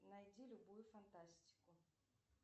найди любую фантастику